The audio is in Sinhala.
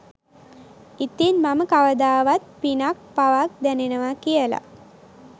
ඉතින් මම කවදාවත් පිනක් පවක් දැනෙනවා කියල